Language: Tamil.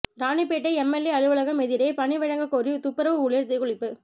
ராணிப்பேட்டை எம்எல்ஏ அலுவலகம் எதிரே பணி வழங்க கோரி துப்புரவு ஊழியர் தீக்குளிப்பு